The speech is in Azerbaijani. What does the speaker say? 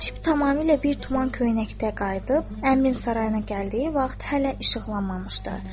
Hacib tamamilə bir tuman köynəkdə qayıdıb, əmirin sarayına gəldiyi vaxt hələ işıqlanmamışdı.